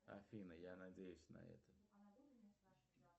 афина я надеюсь на это